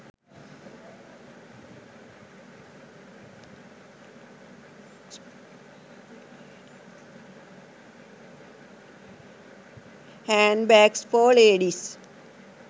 handbags for ladies